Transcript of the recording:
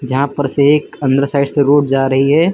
जहां पर से एक अंदर साइड से रोड जा रही है।